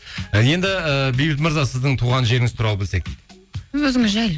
і енді ііі бейбіт мырза сіздің туған жеріңіз туралы білсек өзіңіз жайлы